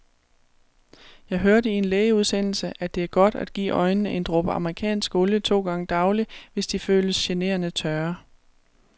Jeg hørte i en lægeudsendelse, at det er godt at give øjnene en dråbe amerikansk olie to gange daglig, hvis de føles generende tørre.